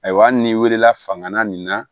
Ayiwa hali n'i wilila fanga nin na